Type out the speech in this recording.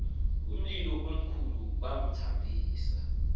umlilo omkhulu bamthambisa